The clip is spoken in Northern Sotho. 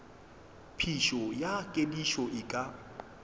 phišo ya kedišo e ka